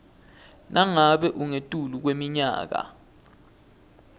nangabe ungetulu kweminyaka